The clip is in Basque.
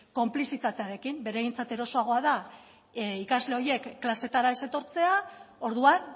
konplizitatearekin beraientzat erosoagoa da ikasle horiek klasetara ez etortzea orduan